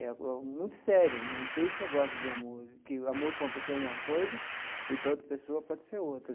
É muito sério, não tem esse negócio de amor, que o amor para uma pessoa é uma coisa e para outra pessoa pode ser outra.